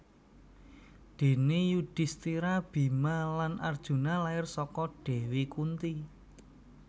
Déné Yudhistira Bima lan Arjuna lair saka Dewi Kunti